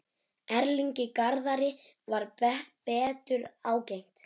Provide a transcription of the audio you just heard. Erlingi Garðari varð betur ágengt.